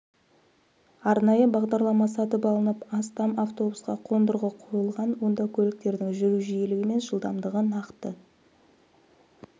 арнайы бағдарлама сатып алынып астам автобусқа қондырғы қойылған онда көліктердің жүру жиілігі мен жылдамдығы нақты